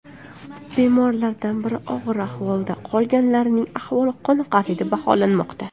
Bemorlardan biri og‘ir ahvolda, qolganlarning ahvoli qoniqarli deb baholanmoqda.